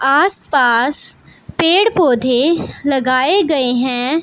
आसपास पेड़ पौधे लगाए गए हैं।